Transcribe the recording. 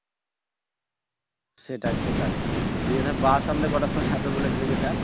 সেটাই সেটাই গিয়ে ধর বাস আমাদের কয়টার সময় ছাড়বে বলেছিলো যে sir